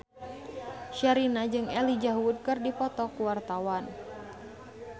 Sherina jeung Elijah Wood keur dipoto ku wartawan